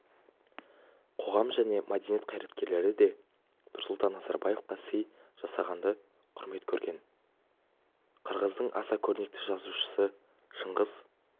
қоғам және мәдениет қайраткерлері де нұрсұлтан назарбаевқа сый жасағанды құрмет көрген қырғыздың аса көрнекті жазушысы шыңғыс